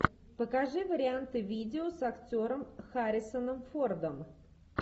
покажи варианты видео с актером харрисоном фордом